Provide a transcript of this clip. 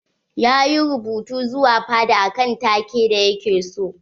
Ya yi rubutu zuwa fada akan take da ya ke so.